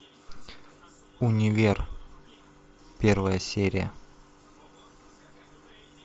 универ первая серия